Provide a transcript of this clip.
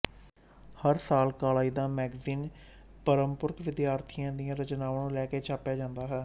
ਹਰ ਸਾਲ ਕਾਲਜ ਦਾ ਮੈਗਜ਼ੀਨ ਪਰਮਪੁਰਖ ਵਿਦਿਆਰਥੀਆਂ ਦੀਆਂ ਰਚਨਾਵਾਂ ਲੈ ਕੇ ਛਾਪਿਆ ਜਾਂਦਾ ਹੈ